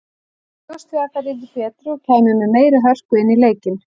Ég bjóst við að þær yrðu betri og kæmu með meiri hörku inn í leikinn.